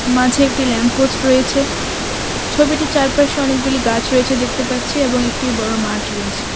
মাঝে একটি ল্যাম্পপোস্ট রয়েছে ছবিটির চারপাশে অনেকগুলি গাছ রয়েছে দেখতে পাচ্ছি এবং একটি বড় মাঠ রয়েছে .